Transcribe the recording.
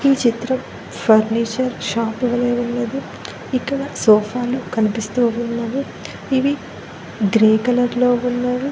ఈ చిత్రం furniture shop వలే ఉన్నది ఇక్కడ సోఫాలు కనిపిస్తూ ఉన్నాయి ఇవి గ్రే కలర్ లో ఉన్నవి.